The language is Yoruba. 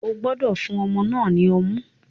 O gbọdọ fun ọmọ náà ni ọmu!